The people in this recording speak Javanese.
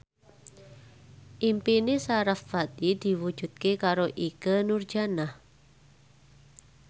impine sarasvati diwujudke karo Ikke Nurjanah